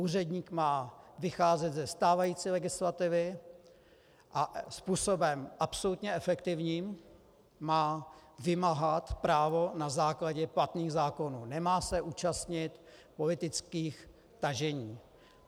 Úředník má vycházet ze stávající legislativy a způsobem absolutně efektivním má vymáhat právo na základě platných zákonů, nemá se účastnit politických tažení.